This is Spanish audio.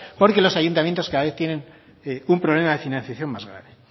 porque los ayuntamientos cada vez tienen un problema de financiación más grave